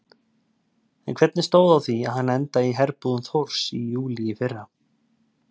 En hvernig stóð á því að hann endaði í herbúðum Þórs í júlí í fyrra?